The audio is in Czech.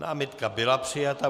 Námitka byla přijata.